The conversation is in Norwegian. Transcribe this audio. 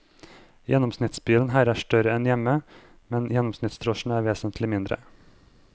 Gjennomsnittsbilen her er større enn hjemme, men gjennomsnittsdrosjen er vesentlig mindre.